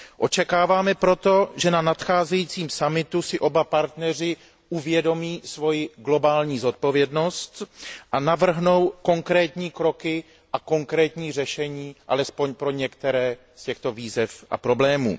Očekáváme proto, že na nadcházejícím summitu si oba partneři uvědomí svoji globální odpovědnost a navrhnou konkrétní kroky a konkrétní řešení, alespoň pro některé z těchto výzev a problémů.